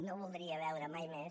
no voldria veure mai més